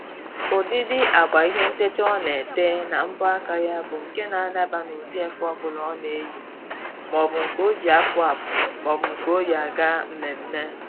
Ụdịdị agba ihe ntecha ọ na-ete na mbọ aka ya bụ nke na-adaba n'ụdị efe ọbụla ọ na-eyi. Maọbụ nke o ji apụ apụ maọbụ nke o yi aga mmemme